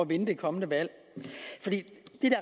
vinde det kommende valg det